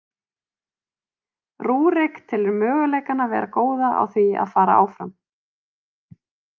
Rúrik telur möguleikana vera góða á því að fara áfram.